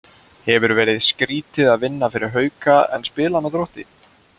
Hefur verið skrýtið að vinna fyrir Hauka en spila með Þrótti?